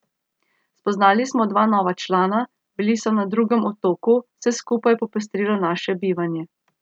Spoznali smo dva nova člana, bili so na drugem otoku, vse skupaj je popestrilo naše bivanje.